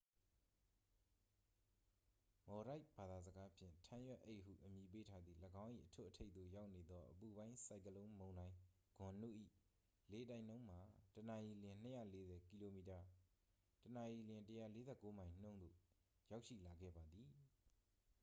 မော်ဒိုက်ဖ် ဘာသာစကားဖြင့် ထန်းရွက်အိတ်ဟုအမည်ပေးထားသည့် ၎င်း၏အထွတ်အထိပ်သို့ရောက်နေသော အပူပိုင်းဆိုင်ကလုန်းမုန်တိုင်းဂွန်နု ၏လေတိုက်နှုန်းမှာ တစ်နာရီလျှင် ၂၄၀ ကီလိုမီတာ တစ်နာရီလျှင် ၁၄၉ မိုင် နှုန်းသို့ ရောက်ရှိလာခဲ့ပါသည်။